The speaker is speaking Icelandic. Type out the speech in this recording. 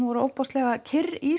ótrúlega kyrr í